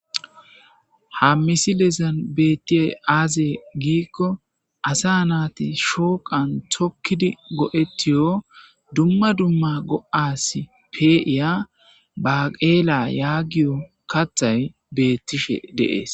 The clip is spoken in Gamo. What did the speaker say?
Ha misilezan bettiyey aaze giikko asa naati shooqan tokkidi go7ettiyo dumma dumma go7as pe7iya baqeela yaagiyo kathay bettishe de'ees.